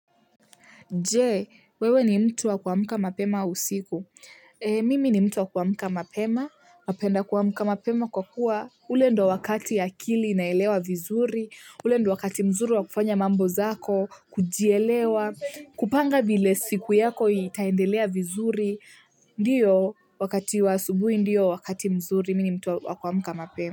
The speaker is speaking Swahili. Je, wewe ni mtu wa kuamka mapema usiku? Mimi ni mtu wa kuamka mapema, napenda kuamka mapema kwa kuwa. Ule ndio wakati akili inaelewa vizuri, ule ndio wakati mzuri wa kufanya mambo zako, kujielewa, kupanga vile siku yako itaendelea vizuri, ndio, wakati wa asubuhi, ndio wakati mzuri, mi ni mtu wa kuamka mapema.